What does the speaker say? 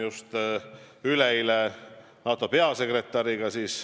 Mul oli üleeile kohtumine NATO peasekretäriga.